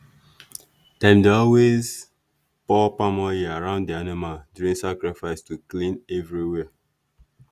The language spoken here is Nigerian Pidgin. dem dey always pour palm oil around the animal during sacrifice to clean everywhere.